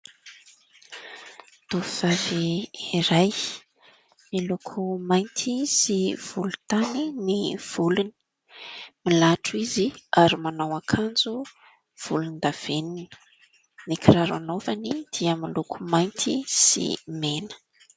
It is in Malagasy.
Tovovavy iray : miloko mainty sy volontany ny volony. Milatro izy ary manao akanjo volondavenona. Ny kiraro anaovany dia miloko mainty sy mena.